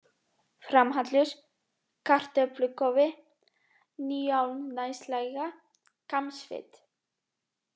Framhallur, Kartöflukofi, Níuálnaslægja, Kambsfit